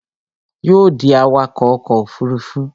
Yóò ó dí awakọ̀ ọkọ̀ òfurufú